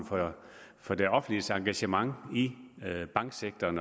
for det offentliges engagement i banksektoren